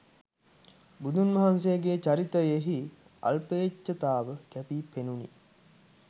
බුදුන් වහන්සේගේ චරිතයෙහි අල්පේච්ඡතාව කැපීපෙනුණි.